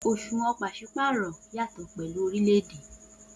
Oṣuwọn paṣipaarọ yatọ pẹlu orilẹ-ede.